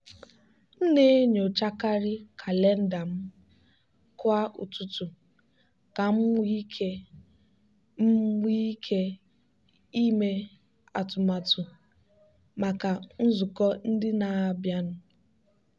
m na-enyochakarị kalenda m kwa ụtụtụ ka m nwee ike m nwee ike ime atụmatụ maka nzukọ ndị na-abịanụ.